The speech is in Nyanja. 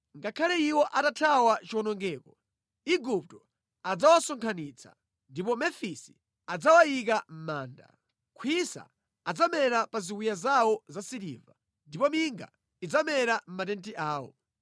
Ngakhale iwo atathawa chiwonongeko, Igupto adzawasonkhanitsa, ndipo Mefisi adzawayika mʼmanda. Khwisa adzamera pa ziwiya zawo zasiliva, ndipo minga idzamera mʼmatenti awo.